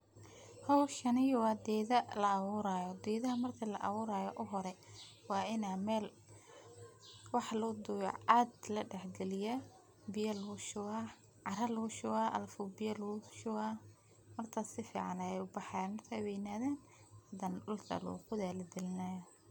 Howshani wa gedo la aburaya, geda marki la aburayo wa ina mel lugudubo, ceg ladax galiya biya lugu shuba cara lugu shuba alafu alafu biya lugu shushuba markas safican ay ubaxayin markay weynadhan hadana dulka loqodhaya hadana lagilinay.